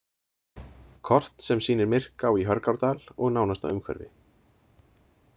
Kort sem sýnir Myrká í Hörgárdal og nánasta umhverfi.